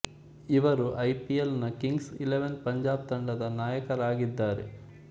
ಇವರು I P L ನ Kings Eleven Punjab ತಂಡದ ನಾಯಕರಾಗಿದ್ದರೆ